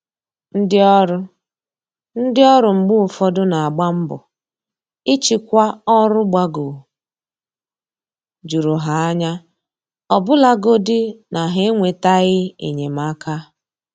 Ndị ọrụ Ndị ọrụ mgbe ụfọdụ n'agba mbọ ịchịkwa ọrụ gbagoo jụrụ ha anya, ọbụlagodi na ha enwetaghị enyemaka